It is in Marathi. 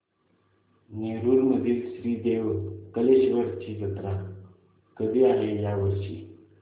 नेरुर मधील श्री देव कलेश्वर ची जत्रा कधी आहे या वर्षी